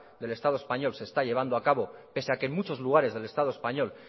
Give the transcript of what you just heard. del estado español se está llevando a cabo pese a que en muchos lugares del estado español